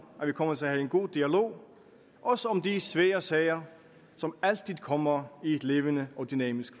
at vi kommer til at have en god dialog også om de svære sager som altid kommer i et levende og dynamisk